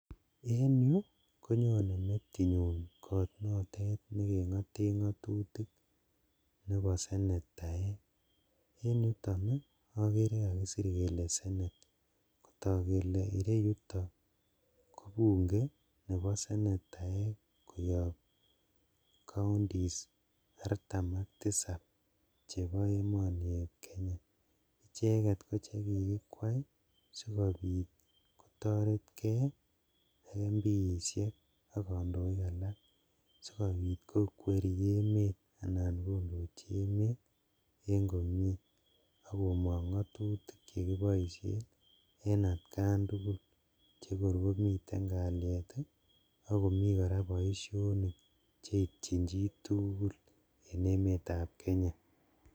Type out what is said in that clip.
En yu konyone metinyun kot notet nekeng'eten ng'atutik ne po senetaek en yuton akere kakisir kele Senate kotok kele ireyuto ko bunge ne po senataek koyop counties artam ak tisap chepo emoni ep kenya icheket koche kikikwai sikopit kotoretge ak Mpiesiek ak kandoik alak sikopit kokweri emet anan kondochi emet en komie akomong'ong ng'atutik chekiboisien en atkan tugul chekorkomiten kaliet akomii kora boisionik cheityin chituugul en emetap kenya.